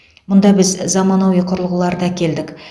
мұнда біз заманауи құрылғыларды әкелдік